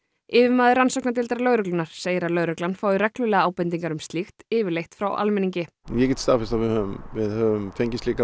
yfirmaður rannsóknardeildar lögreglunnar segir að lögreglan fái reglulega ábendingar um slíkt yfirleitt frá almenningi ég hef staðfest að við höfum við höfum fengið slíkar